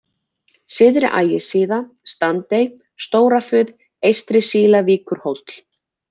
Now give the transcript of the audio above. Syðri-Ægissíða, Standey, Stóra-Fuð, Eystri-Sílavíkurhóll